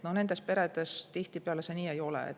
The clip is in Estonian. Nendes peredes tihtipeale see nii ei ole.